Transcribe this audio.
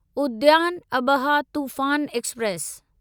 उद्यान अबहा तूफ़ान एक्सप्रेस